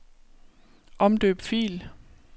Omdøb fil.